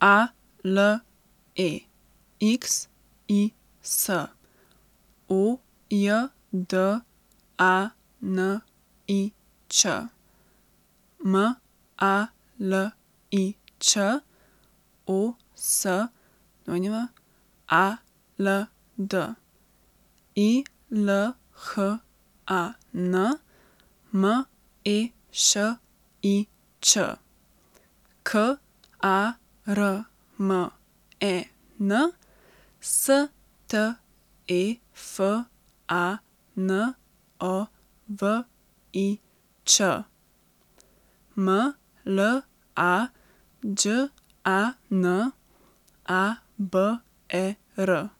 A L E X I S, O J D A N I Č; M A L I Ć, O S W A L D; I L H A N, M E Š I Č; K A R M E N, S T E F A N O V I Ć; M L A Đ A N, A B E R;